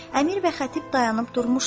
Əmir və xətib dayanıb durmuşdular.